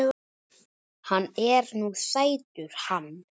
Hann er nú sætur hann